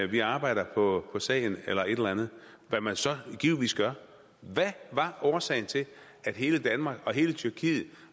vi arbejder på sagen eller et eller andet hvad man så givetvis gør hvad var årsagen til at hele danmark og hele tyrkiet